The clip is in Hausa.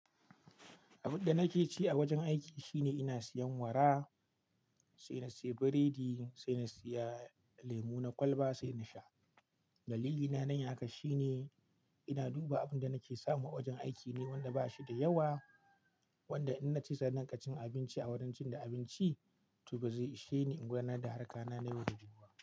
Abin da nake ci a wajen aiki shine ina siyan wara, sai na siya biredi, sai na siya lemu na kwalba sai na sha. Dalilina na yi haka shine ina duba abin da nake samu a wajen aiki ne wanda ba shi da yawa, wanda in nace zan dinga cin abinci a wurin cin da abinci to ba zai ishe ni in gwana da harkar na yau da gobe.